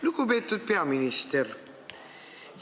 Lugupeetud peaminister!